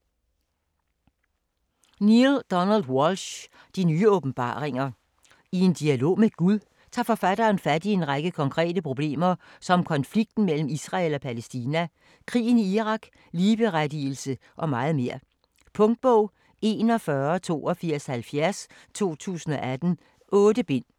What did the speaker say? Walsch, Neale Donald: De nye åbenbaringer I en dialog med Gud tager forfatteren fat i en række konkrete problemer som konflikten mellem Israel og Palæstina, krigen i Irak, ligeberettigelse og meget mere. Punktbog 418270 2018. 8 bind.